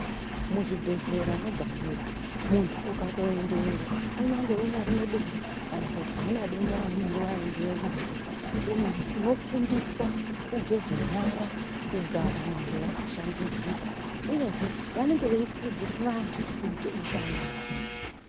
Muzvibhedhlera mwega mwega muntu ukatoendayo unyange utori nedenda kana kuti auna denda raunenge waendeyo naro unofundiswa kugeze nyara kugara muntu wakashambidzika uyezve vanenge veikurudzira antu kuita utsanana.